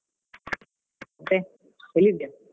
ಮತ್ತೆ ಎಲ್ಲಿದ್ದೀಯ?